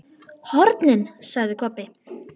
HORNIN, sagði Kobbi.